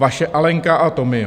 Vaše Alenka a Tomio."